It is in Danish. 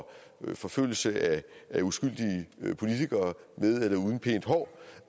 forfølgelse af uskyldige politikere med eller uden pænt hår